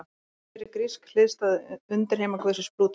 Hver er grísk hliðstæða undirheimaguðsins Plútós?